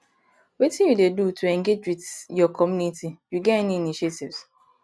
wetin you dey do to engage with your community you get any initiatives